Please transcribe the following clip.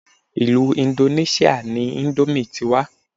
Ilú indoneṣia ni ìndòmí ti wá.